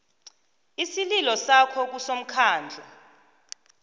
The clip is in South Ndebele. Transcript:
isililo sakho kusomkhandlu